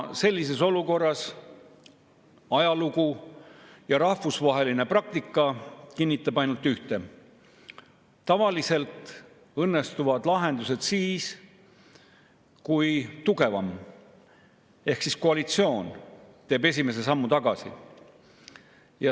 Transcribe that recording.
Sellisest olukorrast, nagu ajalugu ja rahvusvaheline praktika kinnitab, on ainult üks väljapääs: tavaliselt õnnestuvad lahendused siis, kui tugevam pool ehk koalitsioon teeb esimese sammu tagasi.